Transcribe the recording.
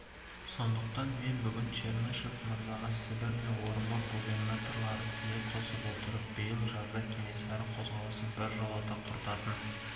сондықтан мен бүгін чернышев мырзаға сібір мен орынбор губернаторлары тізе қоса отырып биыл жазда кенесары қозғалысын біржолата құртатын